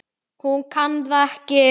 Hún kann það ekki.